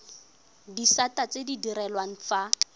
disata tse di direlwang fa